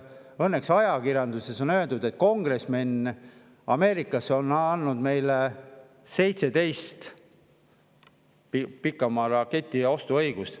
Õnneks ajakirjanduses on öeldud, et Ameerika kongresmenid on andnud meile 17 pikamaaraketi ostu õiguse.